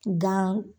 Gan